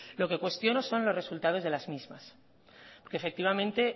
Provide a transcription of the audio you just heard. lo que cuestiono son los resultados de las mismas que efectivamente